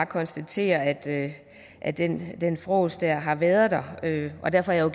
konstatere at det at det fråseri har været der og derfor er